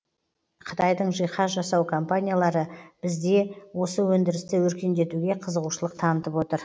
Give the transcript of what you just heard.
қытайдың жиһаз жасау компаниялары бізде осы өндірісті өркендетуге қызығушылық танытып отыр